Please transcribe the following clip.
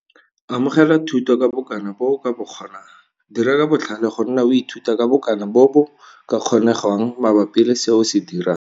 Amogela thuto ka bokana bo o ka bo kgonang. Dira ka botlhale go nna o ithuta ka bokana bo bo ka kgonegwang mabapi le se o se dirang.